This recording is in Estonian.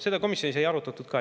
Seda komisjonis ei arutatud ka.